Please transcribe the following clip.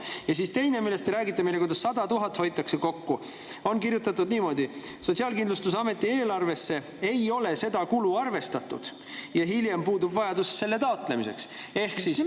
Teise asja kohta, millest te meile räägite, kuidas 100 000 kokku hoitakse, on kirjutatud niimoodi, et Sotsiaalkindlustusameti eelarvesse ei ole seda kulu arvestatud ja hiljem puudub vajadus selle taotlemiseks.